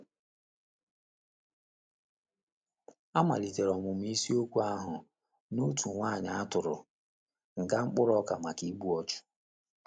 A maliteere ọmụmụ isiokwu ahụ n' otu nwanyị a tụrụ nga mkpụrụ ọka maka igbu ọchụ,